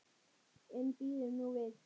En bíðum nú við.